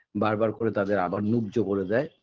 বারবার করে তাদের আবার মূহ্য করে দেয়